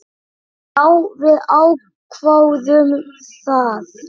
Já, við ákváðum það.